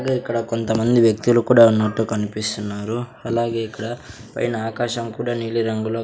అదే ఇక్కడ కొంతమంది వ్యక్తులు కూడా ఉన్నట్టు కనిపిస్తున్నారు అలాగే ఇక్కడ పైన ఆకాశం కూడా నీలి రంగులో --